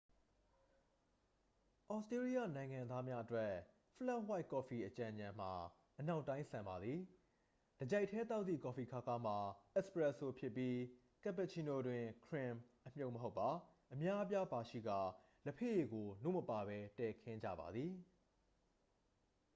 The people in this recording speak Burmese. သြစတေးလျနိုင်ငံသားများအတွက်၊ 'ဖလက်ဝှိုက်' ကော်ဖီ အကြံဉာဏ်မှာ အနောက်တိုင်းဆန်ပါသည်။ တစ်ကျိုက်တည်းသောက်သည့်ကော်ဖီခါးခါးမှာ 'အက်စ်ပရက်စို' ဖြစ်ပြီး၊ ကပ်ပူချီနိုတွင် ခရင်မ် အမြုပ်မဟုတ်ပါ အများအပြားပါရှိကာ၊ လက်ဖက်ရည်ကို နို့မပါဘဲ တည်ခင်းကြပါသည်။